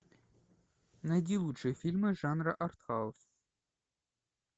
найди лучшие фильмы жанра арт хаус